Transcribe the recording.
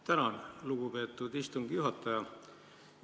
Tänan, lugupeetud istungi juhataja!